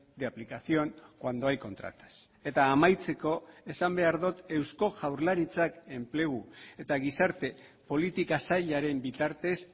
de aplicación cuando hay contratas eta amaitzeko esan behar dut eusko jaurlaritzak enplegu eta gizarte politika sailaren bitartez